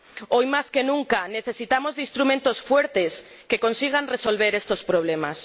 Hoy más que nunca necesitamos de instrumentos fuertes que consigan resolver estos problemas.